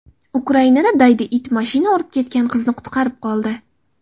Ukrainada daydi it mashina urib ketgan qizni qutqarib qoldi.